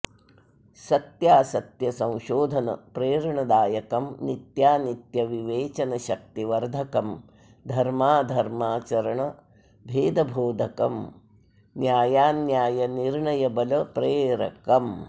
सत्यासत्य संशोधन प्रेरणदायकं नित्यानित्य विवेचन शक्ति वर्धकं धर्माधर्माचरण भेदबोधकं न्यायान्याय निर्णयबल प्रेरकम्